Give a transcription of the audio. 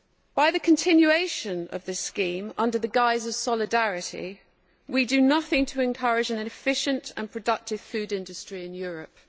By the continuation of this scheme under the guise of solidarity we do nothing to encourage an efficient and productive food industry in Europe.